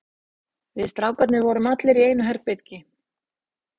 Við strákarnir vorum allir í einu herbergi.